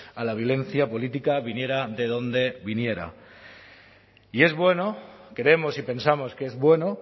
a la violencia política viniera de donde viniera y es bueno creemos y pensamos que es bueno